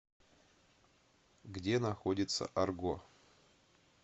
где находится арго